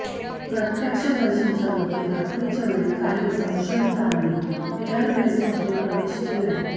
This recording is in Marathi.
प्रत्यक्षदर्शींच्या मते रात्रीच्या वेळी काही संशयितांनी एअरबेसमध्ये प्रवेश केलाय